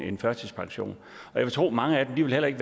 en førtidspension jeg vil tro at mange af dem heller ikke